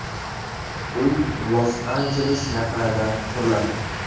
Uy Los-Anjeles yaqinida quriladi.